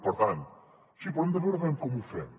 per tant sí però hem de veure com ho fem